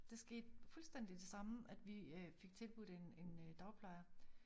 Det skete fuldstændig det samme at vi øh fik tilbudt en en øh dagplejer